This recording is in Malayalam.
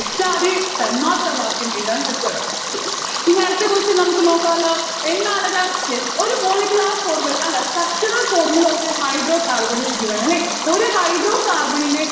തെറ്റാതെ തന്മാത്രവാക്യം എഴുതാൻ പറ്റണം. yes ഇനി അടുത്ത question നമ്മുക്ക് നോക്കാല്ലോ എന്താണത്? yes ഒരു molecular formula അല്ല structural formula of a hydrocarbon is given അല്ലെ ഒരു hydrocarbon ന്റെ